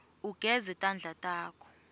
ugeze tandla takho